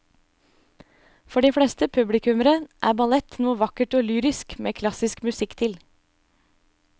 For de fleste publikummere er ballett noe vakkert og lyrisk med klassisk musikk til.